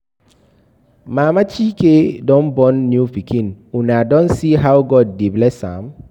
Mama Chike don born new pikin, una don see how God dey bless am?